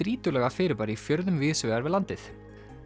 strýtulaga fyrirbæri í fjörðum víðs vegar við landið